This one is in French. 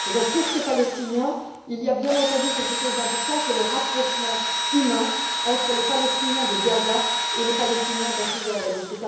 Pour ces Palestiniens, il y a bien entendu quelque chose d'important c'est le rapprochement humain entre les Palestiniens de Gaza et les Palestiniens de la Cisjordanie.